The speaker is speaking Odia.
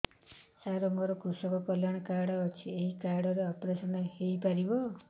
ସାର ମୋର କୃଷକ କଲ୍ୟାଣ କାର୍ଡ ଅଛି ଏହି କାର୍ଡ ରେ ଅପେରସନ ହେଇପାରିବ